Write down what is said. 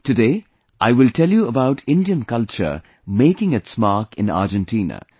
Today I will tell you about the Indian culture making its mark in Argentina